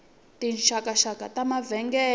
tinxakanxaka ta mavengele